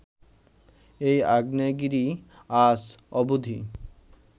এই আগ্নেয়গিরি আজ অবধি